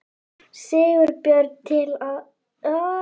Sigurbjörn til við að vélrita skýrsluna.